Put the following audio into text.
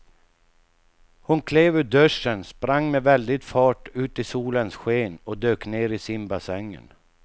Hon klev ur duschen, sprang med väldig fart ut i solens sken och dök ner i simbassängen.